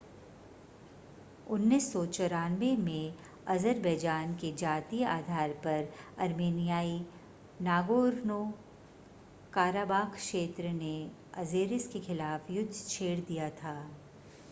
1994 में अज़रबैजान के जातीय आधार पर अर्मेनियाई नागोर्नो-काराबाख़ क्षेत्र ने अज़ेरिस के ख़िलाफ़ युद्ध छेड़ दिया था